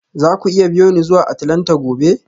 Za ku iya biyo ni zuwa Atlanta gobe?